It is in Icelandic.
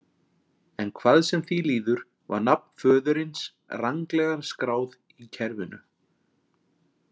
En hvað sem því líður var nafn föðurins ranglega skráð í kerfinu.